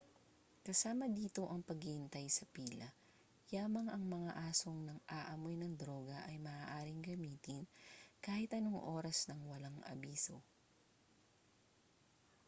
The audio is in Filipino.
kasama dito ang paghihintay sa pila yamang ang mga asong nang-aamoy ng droga ay maaaring gamitin kahit anong oras nang walang abiso